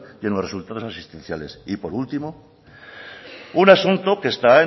y en los resultados asistenciales y por último un asunto que está